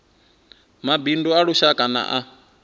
mabindu a lushaka na a